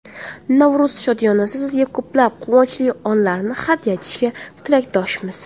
Navro‘z shodiyonasi sizga ko‘plab quvonchli onlarni hadya etishiga tilakdoshmiz!